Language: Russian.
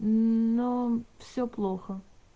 но все плохо